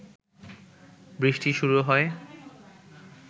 বৃষ্টি শুরু হয়